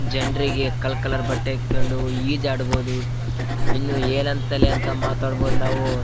ಜನರಿಗೆ ಕಾಲ್ ಕಲರ್ ಬಟ್ಟೆ ಈಜಾಡಬಹುದು ಇನ್ನು ಏನೇನ್ ಅಂತಾನೆ ಮಾತಾಡಬಹುದು ನಾವು --